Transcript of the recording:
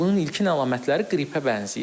Bunun ilkin əlamətləri qripə bənzəyir.